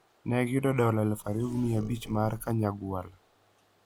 Ne giyudo dola 2,500 mag Kanyagwal.